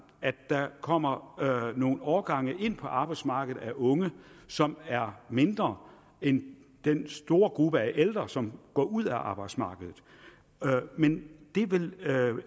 at der kommer nogle årgange ind på arbejdsmarkedet af unge som er mindre end den store gruppe af ældre som går ud af arbejdsmarkedet men det vil